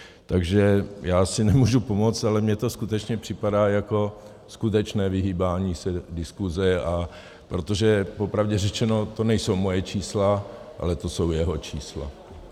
Takže já si nemůžu pomoct, ale mně to skutečně připadá jako skutečné vyhýbání se diskusi, protože popravdě řečeno, to nejsou moje čísla, ale to jsou jeho čísla.